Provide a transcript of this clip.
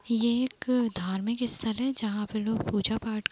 ये एक धार्मिक इस्थल है जहाँ पे लोग पूजा-पाठ --